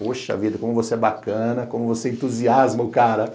Poxa vida, como você é bacana, como você entusiasma o cara.